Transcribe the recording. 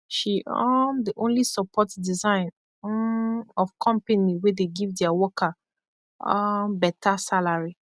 she um dey only support design um of kompany wey dey giv dia worker um beta salary